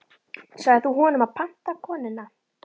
Sagðir þú honum að panta konuna?